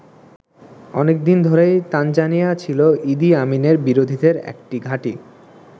অনেক দিন ধরেই তানজানিয়া ছিল ইদি আমিনের বিরোধীদের একটি ঘাঁটি।